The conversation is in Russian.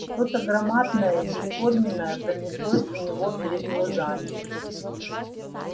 что то громадное и бесформенное пронеслось у него перед глазами